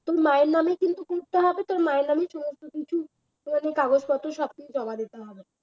তোর মায়ের নামে কিন্তু করতে হবে তোর মায়ের নামে সমস্ত কিছু মানে কাগজপত্র সমস্ত কিছু জমা দিতে হবে